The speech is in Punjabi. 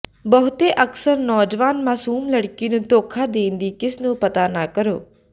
ਬਹੁਤੇ ਅਕਸਰ ਨੌਜਵਾਨ ਮਾਸੂਮ ਲੜਕੀ ਨੂੰ ਧੋਖਾ ਦੇਣ ਦੀ ਕਿਸ ਨੂੰ ਪਤਾ ਨਾ ਕਰੋ